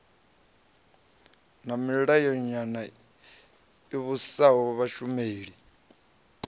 na milayonyana i vhusaho vhashumeli